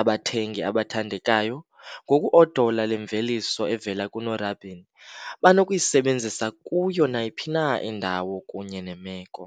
Abathengi abathandekayo, ngoku-odola le mveliso evela kunorabin, banokuyisebenzisa kuyo nayiphi na indawo kunye nemeko.